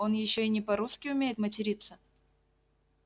он ещё и не по-русски умеет материться